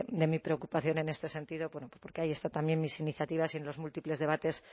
de mi preocupación en este sentido bueno porque ahí están también mis iniciativas y en los múltiples debates